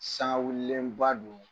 Sangawulilenba don